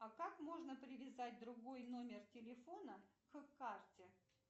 а как можно привязать другой номер телефона к карте